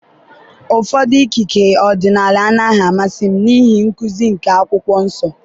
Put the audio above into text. ụfọdụ ikike ọdịnala anaghị amasị m n'ihi nkuzi nke Akwụkwọ Nsọ.